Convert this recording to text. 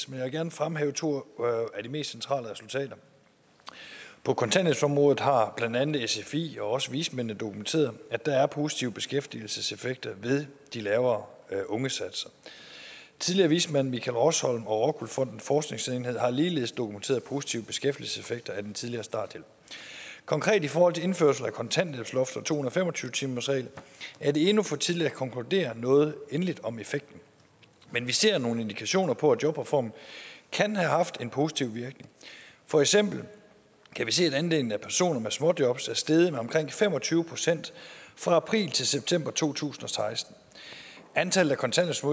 vil gerne fremhæve to af de mest centrale resultater på kontanthjælpsområdet har blandt andet sfi og også vismændene dokumenteret at der er positive beskæftigelseseffekter ved de lavere ungesatser tidligere vismand michael rosholm og rockwool fondens forskningsenhed har ligeledes dokumenteret positive beskæftigelseseffekter af den tidligere starthjælp konkret i forhold til indførelse af kontanthjælpsloftet og to hundrede og fem og tyve timersreglen er det endnu for tidligt at konkludere noget endeligt om effekten men vi ser nogle indikationer på at jobreformen kan have haft en positiv virkning for eksempel kan vi se at andelen af personer med småjobs er steget med omkring fem og tyve procent fra april til september to tusind og seksten antallet